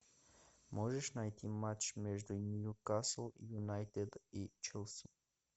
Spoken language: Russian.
можешь найти матч между ньюкасл юнайтед и челси